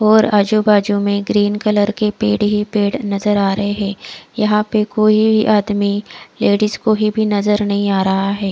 और आजू बाजु में ग्रीन कलर के पेड़ ही पेड़ नज़र आ रहे है यहाँ पे कोई आदमी लेडीज कोईनज़र नही आ रहा है।